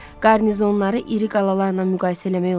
Qarnizonları iri qalalarla müqayisə eləmək olmaz.